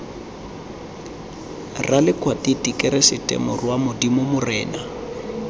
ralekwatiti keresete morwa modimo morena